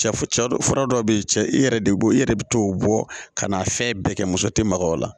Cɛ fura dɔw bɛ yen cɛ i yɛrɛ de b'o i yɛrɛ bɛ t'o bɔ ka na fɛn bɛɛ kɛ muso tɛ maga o la